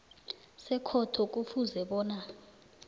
sekhotho kufuze bona